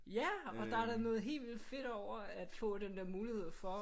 Ja og der er da noget helt vildt fedt over at få den der mulighed for